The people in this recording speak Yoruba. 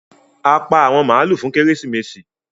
A pá àwọn maalu fún Kérésìmesì.